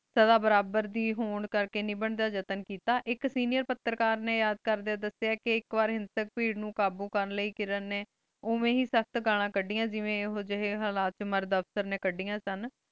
ਸਦਾ ਬਰਾਬਰ ਦੇ ਹੋਣ ਕਰ ਕੀ ਨਿਭਾਨ ਦਾ ਜਾਤਾਂ ਕੀਤਾ ਟੀ ਆਇਕ ਸੇਨਿਓਰ ਪਤਰਕਾਰ ਨੀ ਕਰਦੀ ਦਸ੍ਯ ਆਇਕ ਪਰ੍ਹਿਸਤ ਭੇਰ ਨੂ ਕਾਬੋ ਕਰਨ ਲਾਏ ਕਿਰਣ ਨੀ ਓਵ੍ਯਨ ਹੇ ਸਖ਼ਤ ਗਾਲਾਂ ਕਾਦੀਆਂ ਜੇਵੀ ਏਹੋ ਜਾਏ ਹਾਲਤ ਵਿਚ ਮਾਰਦ ਓਫ੍ਫਿਚੇਰ ਨੀ ਕੜਿਯਾਂ ਸੇ